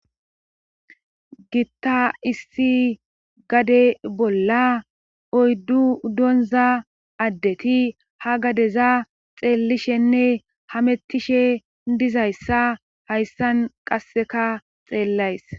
gitta issi gade bolla oyddu donza addeti ha gadeza xeellishenne hamettishe dizayssa hayssan qasseka xeellays